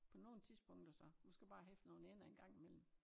På nogen tidspunkter så du skal bare hæfte nogen ender en gang i mellem